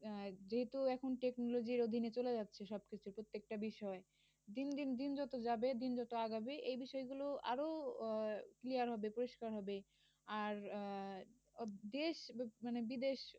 যেহেতু এখন technology র অধীনে চলে যাচ্ছে সবকিছু প্রত্যেকটা বিষয়। দিন দিন দিন যত যাবে দিন যত আগাবে এই বিষয়গুলো আরও আহ clear হবে পরিষ্কার হবে আর আহ দেশ মানে বিদেশ